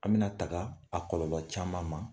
An bɛna taga a kɔlɔba caman ma